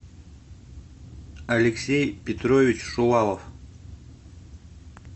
алексей петрович шувалов